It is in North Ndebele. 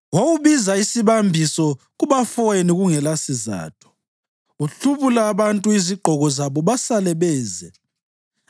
Wawubiza isibambiso kubafowenu kungelasizatho; uhlubula abantu izigqoko zabo basale beze.